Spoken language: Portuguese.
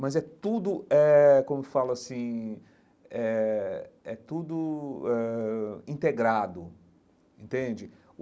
Mas é tudo, eh como falo assim, é é tudo ãh integrado, entende?